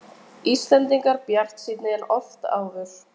Enn eru þau viðhorf ríkjandi í samfélaginu að staður konunnar sé á heimilinu.